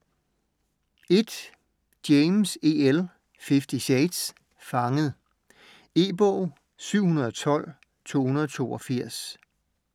James, E. L.: Fifty shades: Fanget E-bog 712282